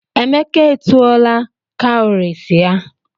Emeka etuola cowries ya.